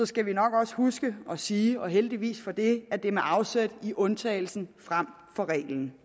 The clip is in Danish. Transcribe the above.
skal vi nok også huske at sige og heldigvis for det at det er med afsæt i undtagelsen frem for reglen